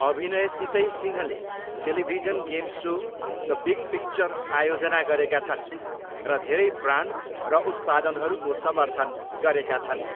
अभिनयसितै सिंहले television game show, the big picture आयोजना गरेका छन् र धेरै ब्रान्ड र उत्पादनहरूको समर्थन गरेका छन्।